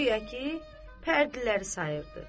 Guya ki, pərdələri sayırdı.